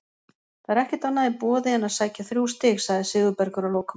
Það er ekkert annað í boði en að sækja þrjú stig, sagði Sigurbergur að lokum.